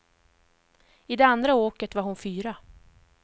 I det andra åket var hon fyra.